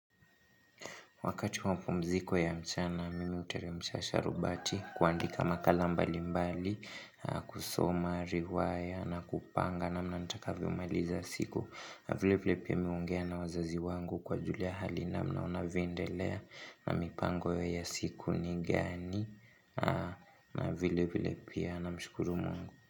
Wakati wa pumziko ya mchana, mimi huteremusha sharubati kuandika makala mbalimbali, kusoma riwaya, na kupanga, namna nitakavyo maliza siku. Vile vile pia mi huongea na wazazi wangu kuwajulia hali namna wanavyoendelea na mipango ya siku ni gani, na vile vile pia namshukuru mungu.